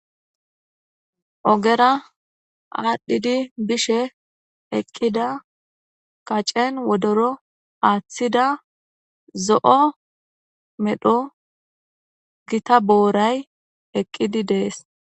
Ogera aadhidi bishe eqqida kacen wodoro aaththida zo7o medho gita booray rqqidi de7ees.